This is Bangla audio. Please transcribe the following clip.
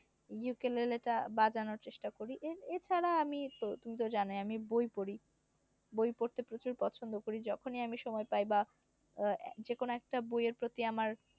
ইউকেলেলে টা বাজানোর চেষ্টা করি এ এছাড়া আমি তো তুমি তো জানোই। আমি বই পড়ি বই পড়তে প্রচুর পছন্দ করি। যখনই আমি সময় পাই বা আহ যেকোন একটা বইয়ের প্রতি আমার।